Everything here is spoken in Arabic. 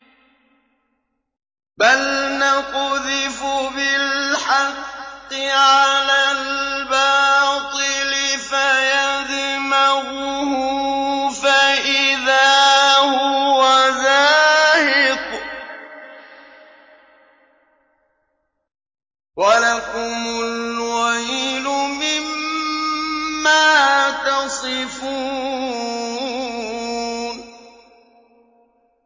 بَلْ نَقْذِفُ بِالْحَقِّ عَلَى الْبَاطِلِ فَيَدْمَغُهُ فَإِذَا هُوَ زَاهِقٌ ۚ وَلَكُمُ الْوَيْلُ مِمَّا تَصِفُونَ